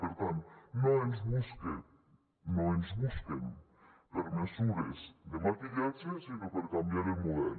per tant no ens busquen no ens busquen per mesures de maquillatge sinó per canviar el model